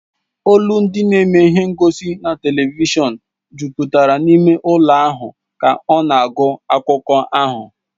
Olu ndi na-eme ihe ngosi na telivishọn jupụtara n'ime ụlọ ahụ ka ọ na-agụ akụkọ ahụ